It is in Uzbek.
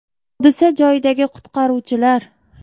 Hodisa joyidagi qutqaruvchilar.